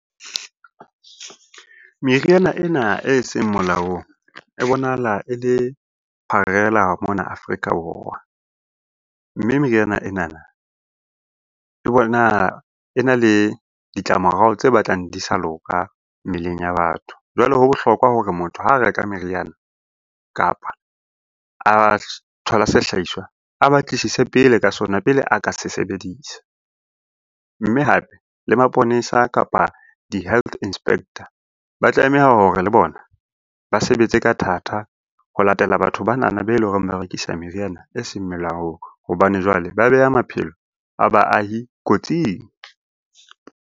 Meriana ena eseng molaong e bonahala e le pharela mona Afrika Borwa. Mme meriana enana e e na le ditlamorao tse batlang di sa loka mmeleng ya batho. Jwale ho bohlokwa hore motho ha reka meriana, kapa a thola sehlahiswa, a batlisise pele ka sona pele a ka se sebedisa. Mme hape le maponesa, kapa di-health inspector ba tlameha hore le bona ba sebetse ka thata ho latela batho banana be leng hore ba rekisa meriana eseng melaong hobane jwale ba beha maphelo a baahi kotsing.